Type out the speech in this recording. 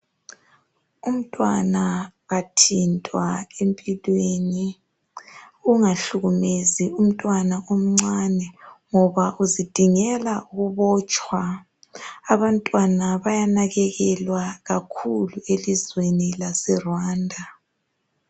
Umntwana kathintwa empilweni, ungahlukumezi umntwana omncane ngoba uzidingela ukubotshwa. Abantwana bayanakekelwa kakhulu elizweni laseRwanda.